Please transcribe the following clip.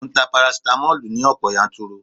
Mò ń ta parasitamoli ní ọ̀pọ̀ yanturu